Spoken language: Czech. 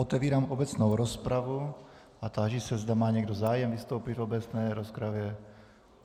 Otevírám obecnou rozpravu a táži se, zda má někdo zájem vystoupit v obecné rozpravě.